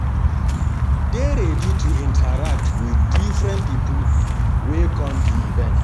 Dey ready to interact with different pipo wey come di event